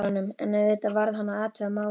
En auðvitað varð hann að athuga málið.